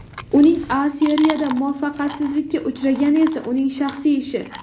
Uning A Seriyada muvaffaqiyatsizlikka uchragani esa uning shaxsiy ishi.